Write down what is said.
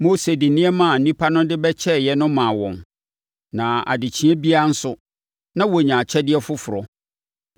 Mose de nneɛma a nnipa no de bɛkyɛeɛ no maa wɔn, na adekyeeɛ biara nso, na wɔnya akyɛdeɛ foforɔ.